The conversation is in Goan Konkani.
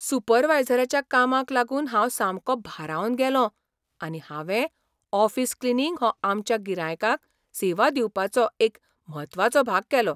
सुपरवायझराच्या कामाक लागून हांव सामको भारावन गेलों आनी हांवें ऑफिस क्लिनींग हो आमच्या गिरायकांक सेवा दिवपाचो एक म्हत्वाचो भाग केलो.